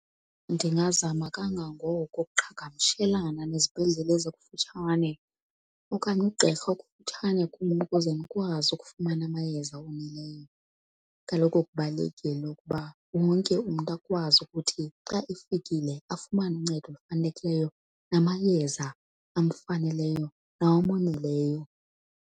Ndingazama kangangoko ukuqhagamshelana nezibhedlele ezikufutshane okanye ugqirha okufutshane kum ukuze ndikwazi ukufumana amayeza oneleyo. Kaloku kubalulekile ukuba wonke umntu akwazi ukuthi xa efikile afumane uncedo olufanelekileyo namayeza amfaneleyo nawomoneleyo.